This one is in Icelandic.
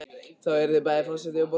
Þú yrðir bæði forseti og borgarstjóri?